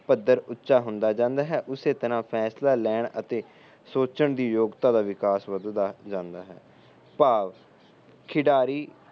ਪੱਧਰ ਉਚਾ ਹੁੰਦਾ ਜਾਂਦਾ ਉਸੇ ਤਰਾਂ ਫੈਂਸਲਾ ਲੈਣ ਅਤੇ ਸੋਚਣ ਦੀ ਯੋਗਤਾ ਦਾ ਵਿਕਾਸ ਵਧਦਾ ਜਾਂਦਾ ਹੈ ਭਾਵ ਖਿਡਾਰੀ